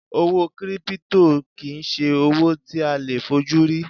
Owó 'Kírípútò' kì í se owó tí a leè fojú rí